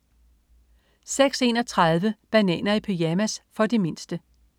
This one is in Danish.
06.31 Bananer i pyjamas. For de mindste